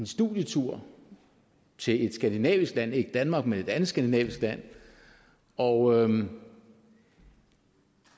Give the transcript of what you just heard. studietur til et skandinavisk land ikke danmark men et andet skandinavisk land og